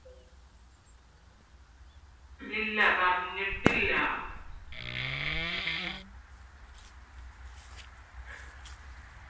ഇല്ല പറഞ്ഞിട്ടില്ല